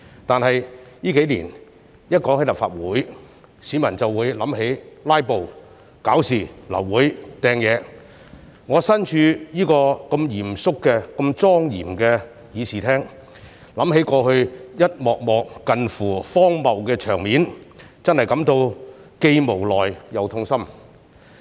但是，這數年只要提及立法會，市民便會想起"拉布"、搞事、流會和擲東西，我身處這個如此嚴肅、如此莊嚴的議事廳，想起過去一幕幕近乎荒謬的場面，真的感到既無奈又痛心。